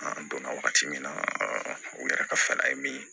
An donna wagati min na u yɛrɛ ka fɛɛrɛ min